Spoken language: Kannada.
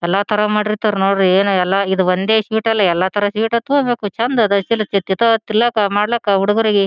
ಎಲ್ಲಾ ತರ ಮಾಡಿರತರ್ ನೋಡ್ರಿ ಏನ್ ಎಲ್ಲಾ ಈದ್ ಒಂದೇ ಶೀಟ್ ಅಲ್ಲಾಎಲ್ಲಾ ತರ ಶೀಟ್ ಹತ್ತಲೇಬೇಕು ಚಂದ್ ಅದ್ ತಿಲಕ್ ಮಾಡ್ಲಿಕ್ ಹುಡುಗ್ರಿಗೆ.